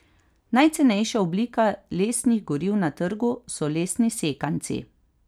Najcenejša oblika lesnih goriv na trgu so lesni sekanci.